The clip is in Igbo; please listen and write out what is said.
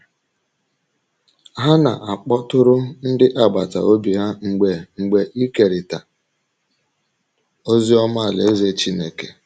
Ha na - akpọtụrụ ndị agbata obi ha mgbe mgbe ikerịta ozi ọma Alaeze Chineke.